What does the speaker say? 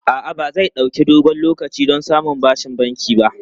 A'a, ba zai ɗauki dogon lokaci don samun bashin banki ba.